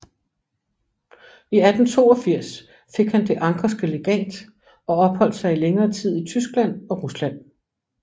I 1882 fik han Det anckerske Legat og opholdt sig i længere tid i Tyskland og Rusland